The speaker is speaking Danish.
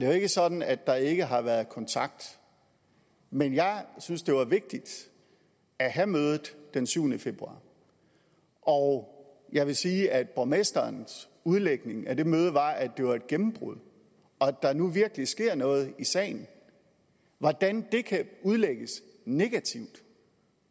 jo ikke sådan at der ikke har været kontakt men jeg synes det var vigtigt at have mødet den syvende februar og jeg vil sige at borgmesterens udlægning af det møde var at det var et gennembrud og at der nu virkelig sker noget i sagen hvordan det kan udlægges negativt